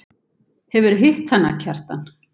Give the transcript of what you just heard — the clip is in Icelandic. Hefurðu hitt hana, Kjartan?